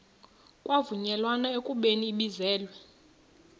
kwavunyelwana ekubeni ibizelwe